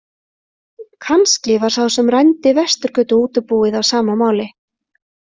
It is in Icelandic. Kannski var sá sem rændi Vesturgötuútibúið á sama máli.